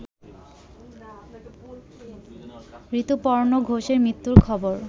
ঋতুপর্ণ ঘোষের মৃত্যুর খবর